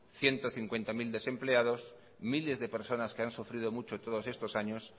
ciento cincuenta mil desempleados miles de personas que han sufrido mucho todos estos años